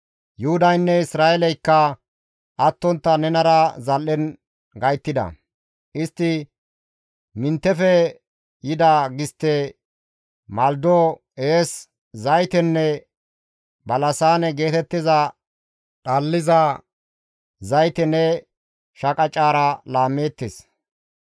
«Yuhudaynne Isra7eeleykka attontta nenara zal7en gayttida; istti Miniteppe yida gistte, malido, ees, zaytenne balasaane geetettiza dhalliza zayte ne shaqacezara laammeettes.